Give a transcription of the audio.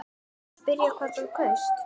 Má spyrja hvað þú kaust?